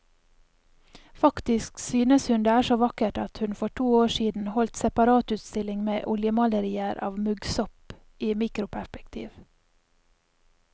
Faktisk synes hun det er så vakkert at hun for to år siden holdt separatutstilling med oljemalerier av muggsopp i mikroperspektiv.